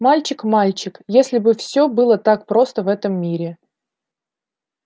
мальчик мальчик если бы все было так просто в этом мире